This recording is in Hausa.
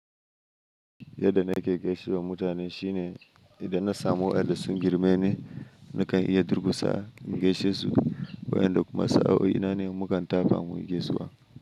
Yadda nake gaishewa mutane shine idan na samu aljasun girme ne, nakan iya durkusa na gaishe su, wayanda kuma sa'o'i nane mukan tafa mu gaisuwa.